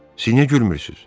Siz niyə gülmürsünüz?